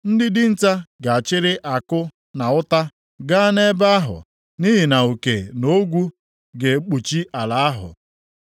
Ndị dinta ga-achịrị àkụ na ùta gaa nʼebe ahụ, nʼihi na uke na ogwu ga-ekpuchi ala ahụ.